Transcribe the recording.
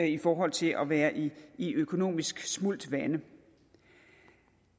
i forhold til at være i i økonomisk smult vande